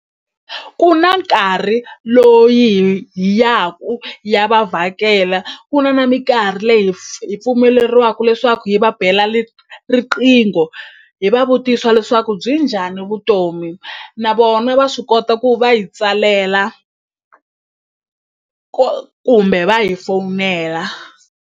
Ku na nkarhi loyi hi yaku ya va vhakela ku na na minkarhi leyi hi hi pfumeleriwaku leswaku hi va bela riqingho hi va vutisa leswaku byi njhani vutomi na vona va swi kota ku va hi tsalela kumbe va hi fowunela.